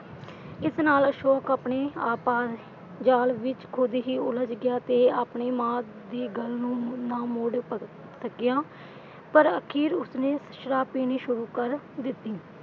ਇਸ ਨਾਲ ਅਸ਼ੋਕ ਆਪਣੇ ਆਪ ਜਾਲ ਵਿਚ ਖ਼ੁਦ ਹੀ ਉਲਝ ਗਿਆ ਤੇ ਆਪਣੀ ਮਾਂ ਦੀ ਗੱਲ ਨੂੰ ਨਾ ਮੋੜ ਸਕਿਆ, ਪਰ ਅਖ਼ੀਰ ਉਸਨੇ ਸ਼ਰਾਬ ਪੀਣੀ ਸ਼ੁਰੂ ਕਰ ਦਿੱਤੀ।